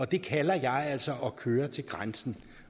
det kalder jeg altså at køre til grænsen